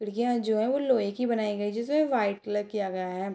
खिड़कियाँ जो है वो लोहे की बनाई गई जिसमें वाइट कलर किया गया है।